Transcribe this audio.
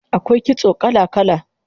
Akwai kitso kala kala